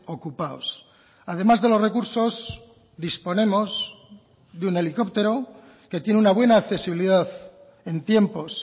ocupados además de los recursos disponemos de un helicóptero que tiene una buena accesibilidad en tiempos